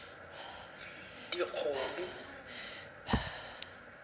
dikgomo